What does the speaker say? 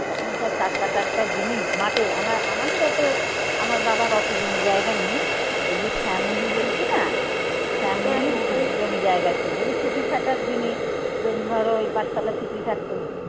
তখন সব টাটকা টাটকা জিনিস মাঠে আমার আমাদের অত আমার বাবার অত জমি জায়গা নেই। ওই যে শ্যামলী বলছিনা শ্যামলী খুব জমি জায়গা ছিল। ওই ছুটি ছাটার দিনে ট্রেন ধরো ওই পাঠশালা ছুটি থাকতো